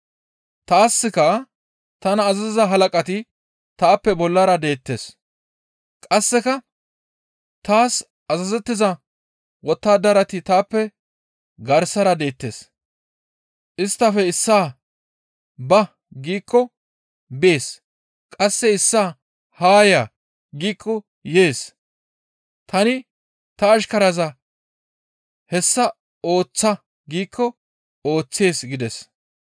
Taaska tana azaziza halaqati taappe bollara deettes; qasseka taas azazettiza wottadarati taappe garsara deettes; isttafe issaa, ‹Ba!› giikko bees; qasse issaa, ‹Haa ya!› giikko yees; tani ta ashkaraza, ‹Hessa ooththa!› giikko ooththees» gides.